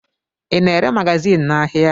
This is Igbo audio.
Ị na-ere magazin n'ahịa?